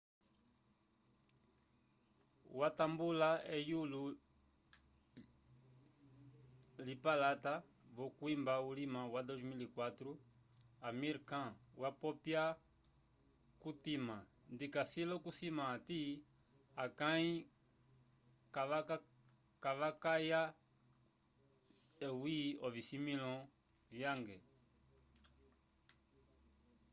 watambula eyulo lypalata v'okwimba ulima wa 2004 amir khan wapopya kutima ndikasi l'okusima hati akãi kavakayake eyi ocisimĩlo cange